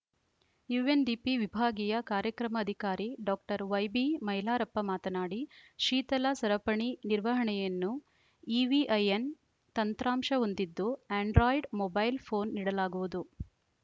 UNDP ವಿಭಾಗೀಯ ಕಾರ್ಯಕ್ರಮ ಅಧಿಕಾರಿ ಡಾಕ್ಟರ್ ವೈಬಿಮೈಲಾರಪ್ಪ ಮಾತನಾಡಿ ಶೀತಲ ಸರಪಣಿ ನಿರ್ವಹಣೆಯನ್ನು ಇವಿಐಎನ್‌ ತಂತ್ರಾಂಶ ಹೊಂದಿದ್ದು ಅಂಡ್ರಾಯ್ಡ್‌ ಮೊಬೈಲ್‌ ಫೋನ್‌ ನೀಡಲಾಗುವುದು